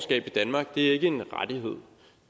det